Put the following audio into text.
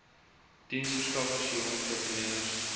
diensverskaffers jong entrepreneurs